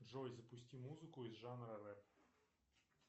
джой запусти музыку из жанра рэп